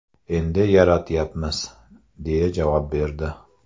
Endi yaratyapmiz”, deya javob berdi.